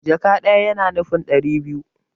Jaka ɗaya yana nufin ɗari biyu